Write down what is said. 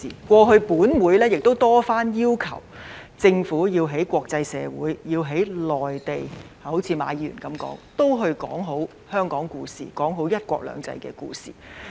過去本會曾多番要求政府要在國際社會、內地，好像馬議員所說，說好香港故事，說好"一國兩制"的故事。